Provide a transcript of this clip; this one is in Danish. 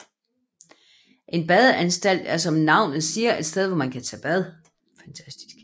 En badeanstalt er som navnet siger et sted hvor man kan tage bad